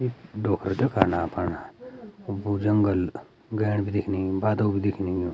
ईख डोख्रा दिखण अपण वू जंगल गेण भी दिखणि बादल भी दिखणि।